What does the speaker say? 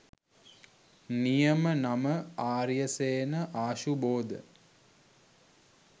නියම නම ආරියසේන ආශුබෝධ.